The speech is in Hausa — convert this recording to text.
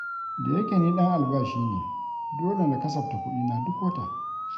Da yake ni ɗan albashi ne, dole na kasafta kuɗina duk wata.